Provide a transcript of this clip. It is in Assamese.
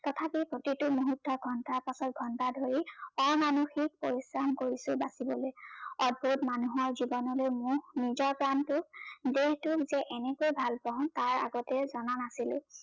তথাপি প্ৰতিটো মূহুৰ্তৰ ঘণ্টাৰ পাছত ঘণ্টা ধৰি অমানসিক পৰিশ্ৰম কৰিছে বাচিবলৈ মানুহলৈ জীৱনলৈ মোহ নিজৰ প্ৰানটো দেহটোক যে এনেকে ভাল পাও তাৰ আগতে জনা নাছিলো